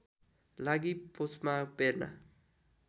लागि पुसमा बेर्ना